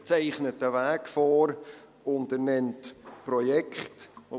Er zeichnet einen Weg vor, und er nennt Projekte.